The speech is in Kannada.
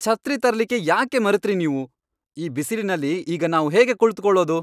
ಛತ್ರಿ ತರ್ಲಿಕ್ಕೆ ಯಾಕೆ ಮರೆತ್ರಿ ನೀವು? ಈ ಬಿಸಿಲಿನಲ್ಲಿ ಈಗ ನಾವು ಹೇಗೆ ಕುಳ್ತುಕೊಳ್ಳೋದು?